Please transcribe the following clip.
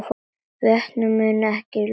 Vötnin munu ekki klofna